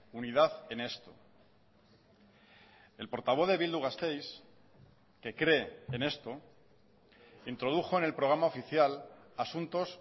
unidad en esto el portavoz de bildu gasteiz que cree en esto introdujo en el programa oficial asuntos